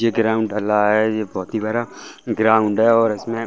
ये ग्राउंड ढला है ये बहुत ही बड़ा ग्राउंड है और इसमें --